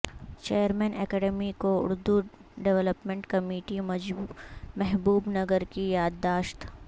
chairman academy کو Urdu development committee Mahabubnagar کی یادداشت